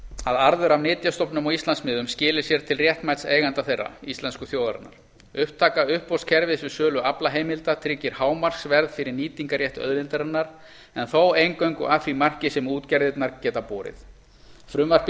að arður af nytjastofnum á íslandsmiðum skili sér til réttmæts eiganda þeirra íslensku þjóðarinnar upptaka uppboðskerfis við sölu aflaheimilda tryggir hámarksverð fyrir nýtingarrétt auðlindarinnar en þó eingöngu að því marki sem útgerðirnar geta borið frumvarpið